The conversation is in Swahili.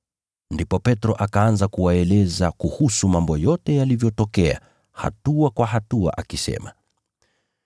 Ndipo Petro akaanza kuwaeleza kuhusu mambo yote yalivyotokea hatua kwa hatua akisema,